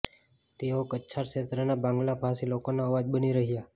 તેઓ કછાર ક્ષેત્રના બાંગ્લા ભાષી લોકોના અવાજ બની રહ્યાં